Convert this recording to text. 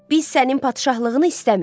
Biz sənin padşahlığını istəmirik.